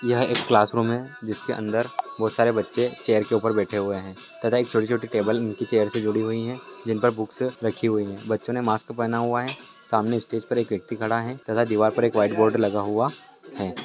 यह एक क्लासरूम है जिसके अंदर बोहोत सारे बच्चे चेयर के ऊपर बैठे हुए हैं तथा एक छोटी छोटी टेबल उनकी चेयर से जुडी हुई हैं जिन पर बुक्स रखी हुई हैं। बच्चों ने मास्क पहना हुआ हैं। सामने स्टेज पर एक व्यक्ति खड़ा है तथा दीवार पर एक व्हाइट बोर्ड लगा हुआ है।